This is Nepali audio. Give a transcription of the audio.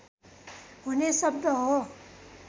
हुने शब्द हो